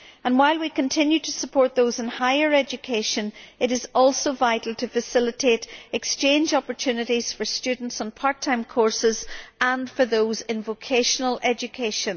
While we continue to support those in higher education, it is also vital to facilitate exchange opportunities for students on part time courses and those in vocational education.